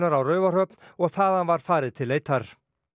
á Raufarhöfn og þaðan var farið til leitar